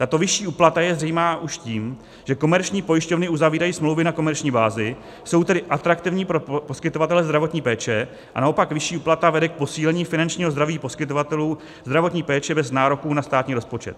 Tato vyšší úplata je zřejmá už tím, že komerční pojišťovny uzavírají smlouvy na komerční bázi, jsou tedy atraktivní pro poskytovatele zdravotní péče, a naopak vyšší úplata vede k posílení finančního zdraví poskytovatelů zdravotní péče bez nároků na státní rozpočet.